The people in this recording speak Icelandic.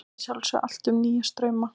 Vita að sjálfsögðu allt um nýja strauma.